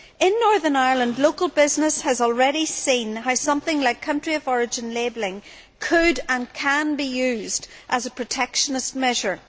In Northern Ireland, local business has already seen how something like country of origin labelling could and can be used as a protectionist measure.